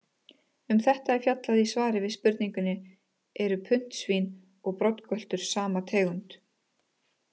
Um þetta er fjallað í svari við spurningunni Eru puntsvín og broddgöltur sama tegund?